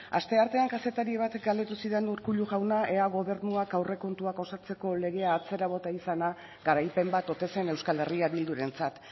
asteartean kazetari batek galdetu zidan urkullu jauna ea gobernuak aurrekontuak osatzeko legea atzera bota izana garaipen bat ote zen euskal herria bildurentzat